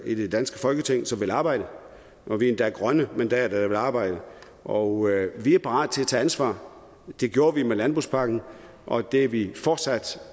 i det danske folketing som vil arbejde og vi er endda grønne mandater der vil arbejde og vi er parat til at tage ansvar det gjorde vi med landbrugspakken og det er vi fortsat